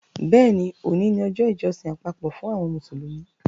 Bẹ́ẹ̀ni, òní ni ọjọ́ ìjọsìn àpapọ̀ fún àwọn Mùsùlùmí